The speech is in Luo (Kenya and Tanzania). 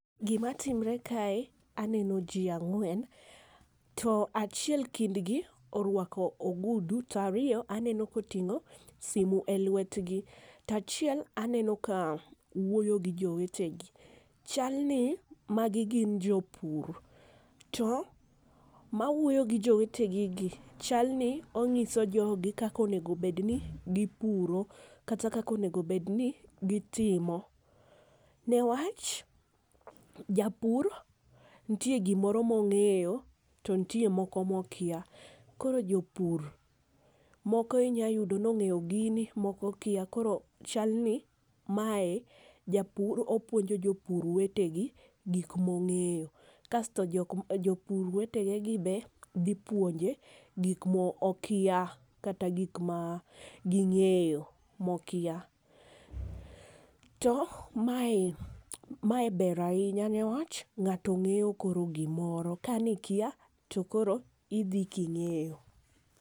Gi ma timre kae aneno ji ang'wen to achiel kind gi orwako ogudu, to ariyo aneno ka oting'o simo e lwetgi to achiel aneno ka wuoyo gi jowete gi. Chal ni ma gi gin jopur to ma wuoyo gi jowete ge gi chal ni ong'iso jogi kaka onego bed ni gi puro kata kaka onego bed ni gi timo , ne wach japur nitie gi moro ma ong'eyo to nitie moro ma okia. Koro jopur moko inya yudo ni ongeyo gi koko okia. Koro chal ni mae japur opuonjo jopur wetegi gik ma ong'eyo, kasto jopur wetege gi be dhi puonje gik ma okia kata gik ma ongeyo ma okia .To ma e ma e ber ainya ne wach ng'ato ng'eyo gi moro ka ne ikia ti idhi ki ing'eyo.